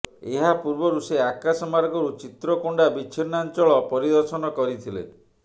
ଏହା ପୂର୍ବରୁ ସେ ଆକାଶ ମାର୍ଗରୁ ଚିତ୍ରକୋଣ୍ଡା ବିଚ୍ଛିନ୍ନାଞ୍ଚଳ ପରିଦର୍ଶନ କରିଥିଲେ